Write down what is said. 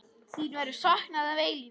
Þín verður saknað að eilífu.